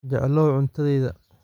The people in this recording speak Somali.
Jeclow cuntadayda.